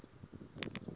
yingwani